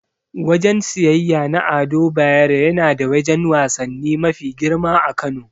Wajen siyeyya na Ado Bayero yana da wajen wasanni mafi girma a Kano.